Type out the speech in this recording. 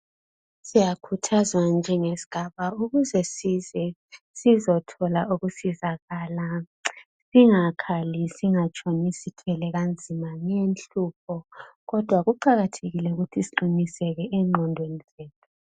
Siyakhuthazwa njengesigaba ukuze size sizethola ukusizakala singakhali singatshoni sithwele kanzima inhlupho kodwa kuqakathekile ukuthi siqiniseke engqondweni zethu .